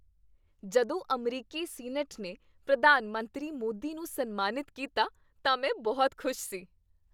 ਜਦੋਂ ਅਮਰੀਕੀ ਸੀਨੇਟ ਨੇ ਪ੍ਰਧਾਨ ਮੰਤਰੀ ਮੋਦੀ ਨੂੰ ਸਨਮਾਨਿਤ ਕੀਤਾ ਤਾਂ ਮੈਂ ਬਹੁਤ ਖੁਸ਼ ਸੀ।